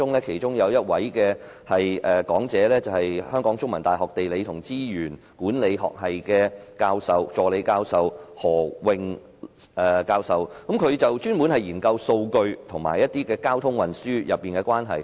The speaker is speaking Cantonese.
其中一位講者是香港中文大學地理與資源管理學系助理教授何穎教授，她專門研究數據與交通運輸的關係。